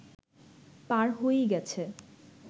পার হয়েই গেছে